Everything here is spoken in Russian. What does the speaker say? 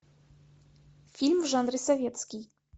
фильм в жанре советский